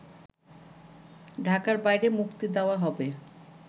ঢাকার বাইরে মুক্তি দেওয়া হবে